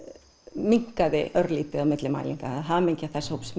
minnkaði örlítið á milli mælinga hamingja þess hóps